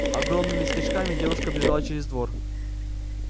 огромными скачками девушка бежала через двор